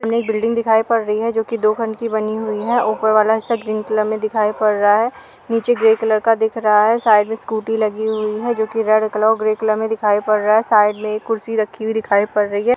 सामने एक बिल्डिंग दिखायी पड़ रही है जोकि दो खंड की बनी हुयी है। ऊपर वाला हिस्सा ग्रीन कलर में दिखायी पड़ रहा है। नीचे ग्रे कलर का दिख रहा है। साइड में स्कूटी लगी हुयी है जोकि रेड कलर और ग्रे कलर की दिखायी पड़ रही है। साइड में एक कुर्सी रखी दिखायी पड़ रही है।